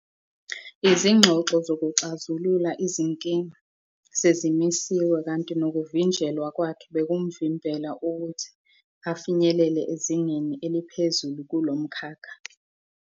Izingxoxo zokuxazulula izinkinga "sezimisiwe" kanti nokuvinjelwa kwakhe bekumvimbela ukuthi "afinyelele ezingeni eliphezulu kulo mkhakha".